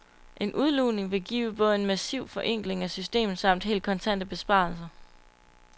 En udlugning vil give både en massiv forenkling af systemet samt helt kontante besparelser.